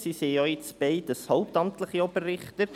sie sind jetzt beide hauptamtliche Oberrichter.